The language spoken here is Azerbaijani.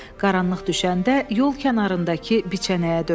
Qaranlıq düşəndə yol kənarındakı biçənəyə döndü.